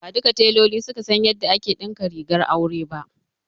Ba duka teloli ne suka san yadda ake ɗinka rigar aure ba.